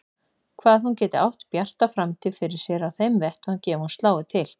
Hvað hún geti átt bjarta framtíð fyrir sér á þeim vettvangi ef hún slái til.